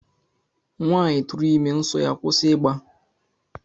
Nwaanyị tụrụ ime, nsọ ya akwụsị ịgba